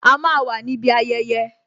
A máa wà níbi ayẹyẹ